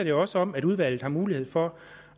jo også om at udvalget har mulighed for